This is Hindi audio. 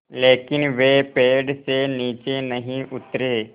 लेकिन वे पेड़ से नीचे नहीं उतरे